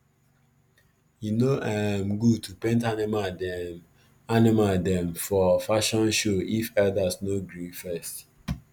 e no um good to paint animal dem animal dem for fashion show if elders no gree first